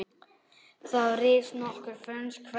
Þá risu nokkur frönsk hverfi.